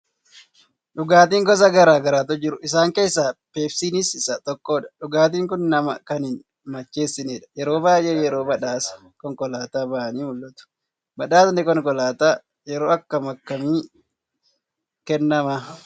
Dhugaatiin gosa garaa garaatu jiru. Isaan keessaa peepsiiniin isa tokko dha. Dhugaatiin kun nama kan hin macheessinedha. Yeroo baay'ee yeroo badhaasa konkolaataa ba'anii mul'atu. Badhaasni Konkolaataa yeroo akkam akkamii kennama?